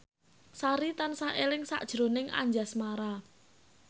Sari tansah eling sakjroning Anjasmara